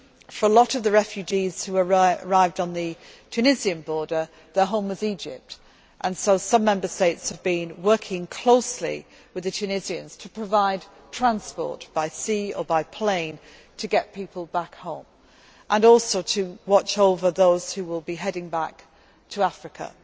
For a lot of refugees who arrived at the Tunisian border, their home was Egypt, and some Member States have been working closely with the Tunisians to provide transport by sea or by plane to get people back home, and also to watch over those who will be heading back to Africa.